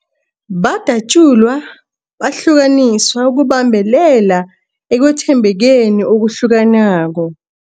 Badatjulwa, bahlukaniswa ukubambelela ekwethembekeni okuhlukanako.